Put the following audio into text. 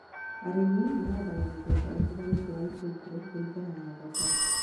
Arĩmi mahandaga mĩthemba ĩtiganĩte ya itũngũrũ kũringana na thoko